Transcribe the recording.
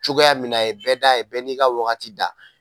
Cogoya min na a ye bɛɛ da, a ye bɛɛ n'i ka wagati da.